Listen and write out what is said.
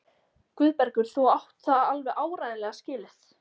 Guðbergur, þú átt það alveg áreiðanlega skilið.